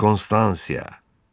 Konstansiya!